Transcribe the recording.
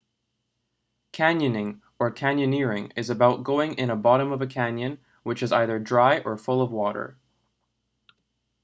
canyoning or: canyoneering is about going in a bottom of a canyon which is either dry or full of water